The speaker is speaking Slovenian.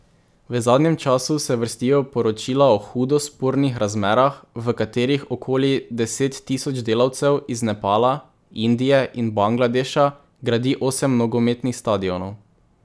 V zadnjem času se vrstijo poročila o hudo spornih razmerah, v katerih okoli deset tisoč delavcev iz Nepala, Indije in Bangladeša gradi osem nogometnih stadionov.